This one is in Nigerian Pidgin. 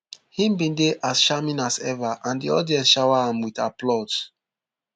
im bin dey as charming as ever and di audience shower am wit applause